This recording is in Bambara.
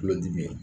Tulodimi